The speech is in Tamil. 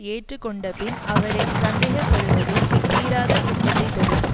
ஏற்றுக்கொண்டபின் அவரை சந்தேகப்படுவதும் தீராத துன்பத்தை தரும்